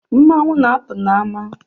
Mmanwụ na-apụ n’ama